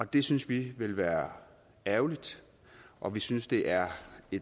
det synes vi ville være ærgerligt og vi synes det er